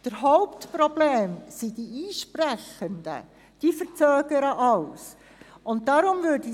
Das Hauptproblem sind die Einsprechenden, denn sie verzögern den gesamten Prozess.